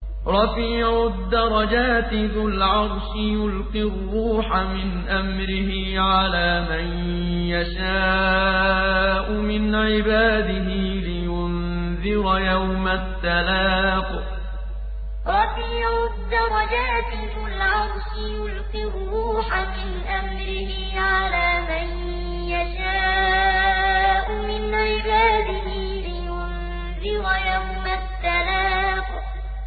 رَفِيعُ الدَّرَجَاتِ ذُو الْعَرْشِ يُلْقِي الرُّوحَ مِنْ أَمْرِهِ عَلَىٰ مَن يَشَاءُ مِنْ عِبَادِهِ لِيُنذِرَ يَوْمَ التَّلَاقِ رَفِيعُ الدَّرَجَاتِ ذُو الْعَرْشِ يُلْقِي الرُّوحَ مِنْ أَمْرِهِ عَلَىٰ مَن يَشَاءُ مِنْ عِبَادِهِ لِيُنذِرَ يَوْمَ التَّلَاقِ